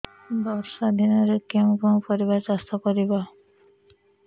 ବର୍ଷା ଦିନରେ କେଉଁ କେଉଁ ପରିବା ଚାଷ କରିବା